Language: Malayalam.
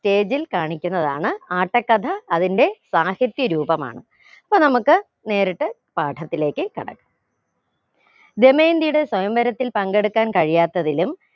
stage ഇൽ കാണിക്കുന്നതാണ് ആട്ടക്കഥ അതിന്റെ സാഹിത്യ രൂപമാണ് പൊ നമുക്ക് നേരിട്ട് പത്തിലേക്ക് കടക്കാം ദമയന്തിയുടെ സ്വയം വരത്തിൽ പങ്കെടുക്കാൻ കഴിയാത്തതിലും